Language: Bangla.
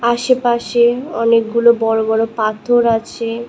আশেপাশে অনেকগুলো বড়ো বড়ো পাথর আছে।